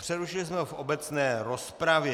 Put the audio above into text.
Přerušili jsme ho v obecné rozpravě.